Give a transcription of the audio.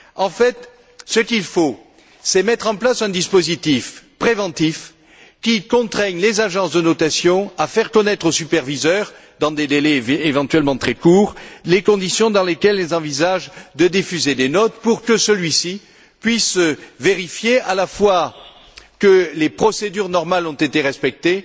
En fait, ce qu'il faut, c'est mettre en place un dispositif préventif qui contraigne les agences de notation à faire connaître au superviseur, dans des délais éventuellement très courts, les conditions dans lesquelles elles envisagent de diffuser des notes pour que celui ci puisse vérifier à la fois que les procédures normales ont été respectées